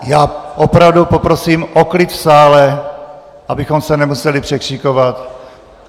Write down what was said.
Já opravdu poprosím o klid v sále, abychom se nemuseli překřikovat.